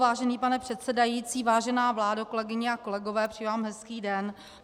Vážený pane předsedající, vážená vládo, kolegyně a kolegové, přeji vám hezký den.